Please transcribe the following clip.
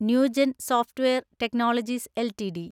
new gen software technologies LTD